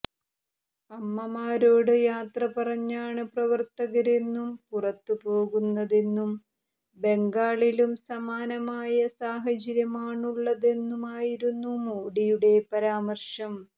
അമ്മമാരോട് യാത്ര പറഞ്ഞാണ് പ്രവര്ത്തകര് എന്നും പുറത്തുപോകുന്നതെന്നും ബംഗാളിലും സമാനമായ സാഹചര്യമാണുള്ളതെന്നുമായിരുന്നു മോഡിയുടെ പരാമര്ശം